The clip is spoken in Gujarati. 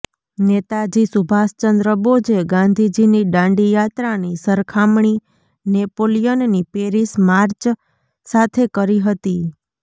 નેતાજી સુભાષચંદ્ર બોઝે ગાંધીજીની દાંડી યાત્રાની સરખામણી નેપોલિયનની પેરિસ માર્ચ સાથે કરી હતી